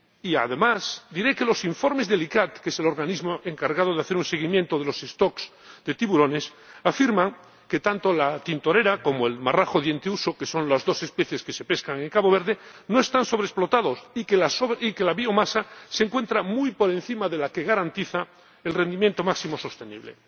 Y, asimismo, diré que los informes del ICCAT, que es el organismo encargado de hacer un seguimiento de las poblaciones de tiburones, afirman que tanto la tintorera como el marrajo dientuso, que son las dos especies que se pescan en Cabo Verde, no están sobreexplotados y que la biomasa se encuentra muy por encima de la que garantiza el rendimiento máximo sostenible.